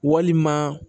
Walima